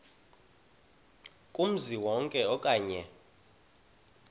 kumzi wonke okanye